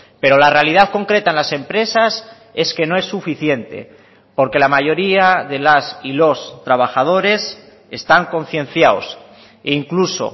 pero la realidad concreta en las empresas es que no es suficiente porque la mayoría de las y los trabajadores están concienciados e incluso